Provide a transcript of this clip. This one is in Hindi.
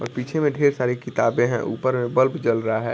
और पीछे में ढेर सारी किताबें हैं ऊपर में बल्ब जल रहा है ।